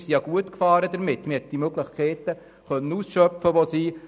Damit sind wir ja gut gefahren, und man hat die bestehenden Möglichkeiten ausschöpfen können.